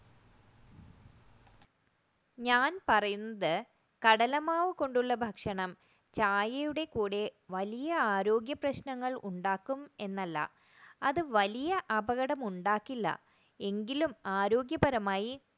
ഞാൻ പറയുന്നത് കടലമാവ് കൊണ്ട് ഉള്ള ഭക്ഷണം ചായയുടെ കൂടെ വലിയ ആരോഗ്യപ്രശ്നങ്ങൾ ഉണ്ടാക്കും എന്നല്ല അത് വലിയ അപകടം ഉണ്ടാക്കില്ല എങ്കിലും ആരോഗ്യപരമായി